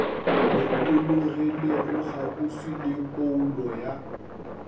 lokologilego kgauswi le phoulo ya